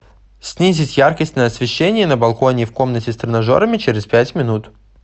снизить яркость на освещении на балконе в комнате с тренажерами через пять минут